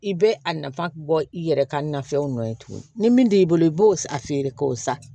I bɛ a nafa bɔ i yɛrɛ ka nafɛnw nɔ ye tuguni ni min t'i bolo i b'o feere k'o sa